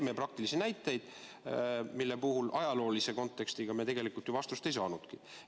Toodi praktilisi näiteid, mille puhul ajaloolise konteksti mõttes me tegelikult ju vastust ei saanudki.